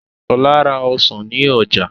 Ṣọ́la ra Ọsàn ní Oja